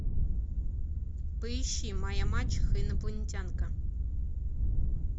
поищи моя мачеха инопланетянка